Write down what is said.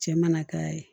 Cɛ mana k'a ye